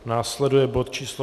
Následuje bod číslo